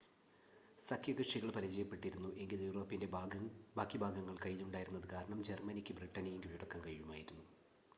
സഖ്യകക്ഷികൾ പരാജയപ്പെട്ടിരുന്നു എങ്കിൽ യൂറോപ്പിൻ്റെ ബാക്കി ഭാഗങ്ങൾ കയ്യിലുണ്ടായിരുന്നത് കാരണം ജർമ്മനിക്ക് ബ്രിട്ടനെയും കീഴടക്കാൻ കഴിയുമായിരുന്നു